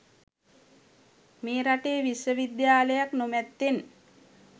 මේ රටේ විශ්වවිද්‍යාලයක් නො මැත්තෙන්